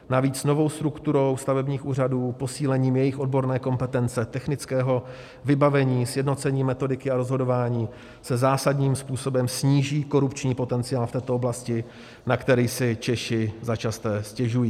Navíc novou strukturou stavebních úřadů, posílením jejich odborné kompetence, technického vybavení, sjednocením metodiky a rozhodování se zásadním způsobem sníží korupční potenciál v této oblasti, na který si Češi začasté stěžují.